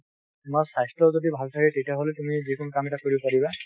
তোমাৰ স্বাস্থ্য যদি ভাল থাকে তেতিয়া হলে তুমি যিকোনো কাম এটা কৰিব পাৰিবা।